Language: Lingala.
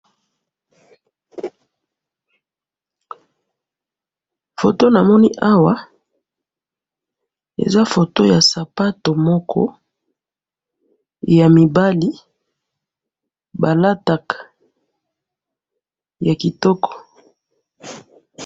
photo namoni awa, eza photo ya sapatu moko ya mibali, ba lataka, ya kitoko